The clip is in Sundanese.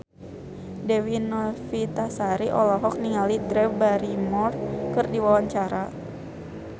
Dewi Novitasari olohok ningali Drew Barrymore keur diwawancara